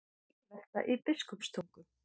Bílvelta í Biskupstungum